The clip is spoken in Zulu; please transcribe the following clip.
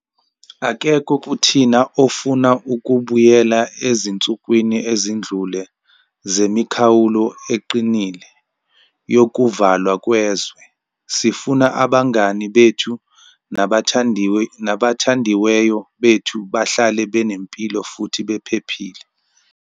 Akekho kuthina ofuna ukubuyela ezinsukwini ezidlule zemikhawulo eqinile yokuvalwa kwezwe. Sifuna abangani bethu nabathandiweyo bethu bahlale benempilo futhi bephephile.